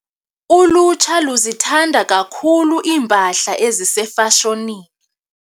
Ulutsha luzithanda kakhulu iimpahla ezisefashonini.